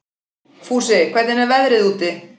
Fúsi, hvernig er veðrið úti?